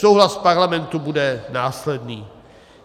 Souhlas Parlamentu bude následný.